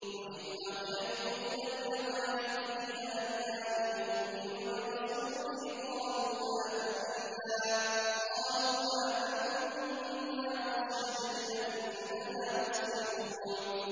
وَإِذْ أَوْحَيْتُ إِلَى الْحَوَارِيِّينَ أَنْ آمِنُوا بِي وَبِرَسُولِي قَالُوا آمَنَّا وَاشْهَدْ بِأَنَّنَا مُسْلِمُونَ